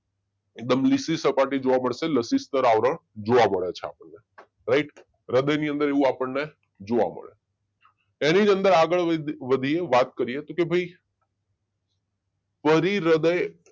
એકદમ લીસ્સી સપાટી જોવા મળશે લાસીસ્તર આવરણ જોવા મળે છે રાઈટ હૃદય ની અંદર એવું આપણને જુઓ એની જ અંદર આગળ વધી વધીને વાત કરીએ તો કે ભાઈ પરીહૃદય